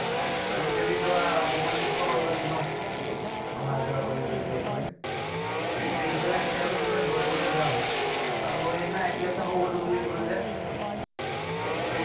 আজি কালি ধৰা সময় নোপোৱা হৈ গৈছো ন। এইটো অহা যোৱা কৰি কৰি B. Ed. লৈ। এনে পিছ্বেলা কেতিয়াবা কেতিয়াবা দৌৰিবলৈ যাওঁ। আৰু সেইদিনা IPL চাব গলো বুলি কলো যে। এক্দম